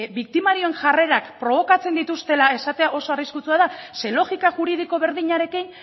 biktimarioen jarrerak probokatzen dituztela esatea oso arriskutsua da ze logika juridiko berdinarekin